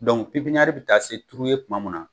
pipniyɛri bɛ taa se turu ye tuma mun na